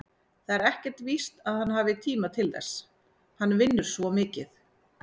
Það er ekkert víst að hann hafi tíma til þess, hann vinnur svo mikið.